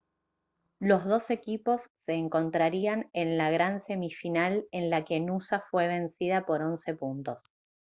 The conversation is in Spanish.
los dos equipos se encontrarían en la gran semifinal en la que noosa fue vencida por 11 puntos